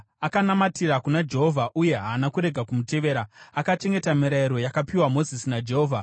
Akanamatira kuna Jehovha uye haana kurega kumutevera; akachengeta mirayiro yakapiwa Mozisi naJehovha.